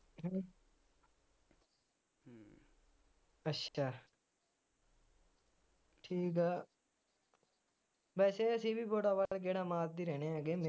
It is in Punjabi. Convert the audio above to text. ਅੱਛਾ ਠੀਕ ਆ ਵੈਸੇ ਅਸੀ ਵੀ ਬੋੜਾਵਾਲ ਗੇੜਾ ਮਾਰਦੇ ਰਹਿੰਦੇ ਹੈਗੇ ਮੇਰੇ